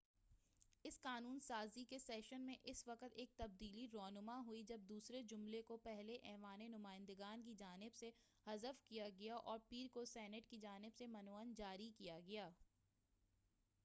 اس قانون سازی کے سیشن میں اس وقت ایک تبدیلی رونما ہوئی جب دوسرے جملے کو پہلے ایوانِ نمائندگان کی جانب سے حذف کیا گیا اور پیر کو سینٹ کی جانب سے من و عن جاری کیا گیا